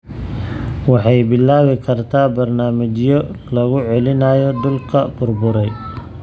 Waxay bilaabi kartaa barnaamijyo lagu soo celinayo dhulka burburay.